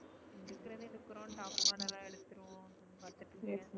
எடுக்குறதே எடுக்குறோம் top model லா எடுத்துவோம்.